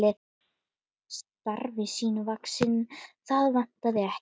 Starfi sínu vaxinn, það vantaði ekki.